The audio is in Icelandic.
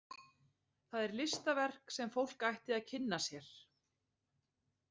Það er listaverk sem fólk ætti að kynna sér.